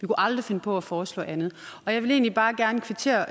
aldrig finde på at foreslå andet jeg vil egentlig bare gerne kvittere